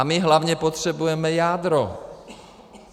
A my hlavně potřebujeme jádro.